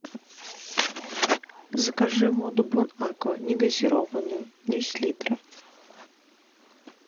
закажи воду бон аква не газированную десять литров